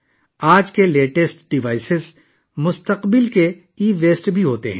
آج کے جدید ترین آلات بھی مستقبل کا ای ویسٹ ہیں